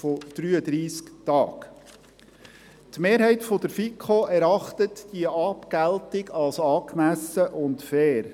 Die Mehrheit der FiKo erachtet diese Abgeltung als angemessen und fair.